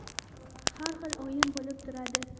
Har xil o‘yin bo‘lib turadi.